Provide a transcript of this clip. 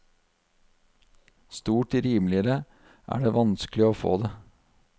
Stort rimeligere er det vanskelig å få det.